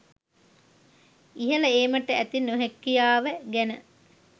ඉහල ඒමට ඇති නොහැකියාව ගැන